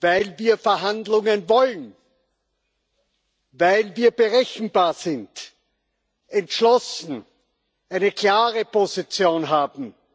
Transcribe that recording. weil wir Verhandlungen wollen, weil wir berechenbar und entschlossen sind, eine klare Position haben.